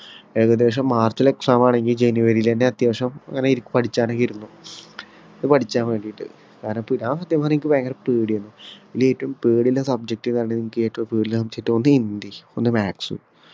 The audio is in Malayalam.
ഏകദേശം മാർച്ചിലെ exam ആണെങ്കി ജനുവരിലെന്നെ അത്യാവശ്യം ഇങ്ങനെ ഇരി പഠിച്ചാനൊക്കെ ഇരിന്നു പഠിച്ചാൻ വേണ്ടിട്ട് കാരണം അനക്ക് ഞാൻ സത്യം പറഞ്ഞ ഇക്ക് ഭയകര പേടി ആയിരുന്നു ഇതില് ഏറ്റവും പേടി ഉള്ള subject ഏതാന്ന് അനക്ക് ഏറ്റവും പേടി ഉള്ള subject ഒന്ന് ഹിന്ദി ഒന്ന് maths